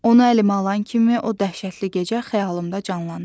Onu əlimə alan kimi o dəhşətli gecə xəyalımda canlanır.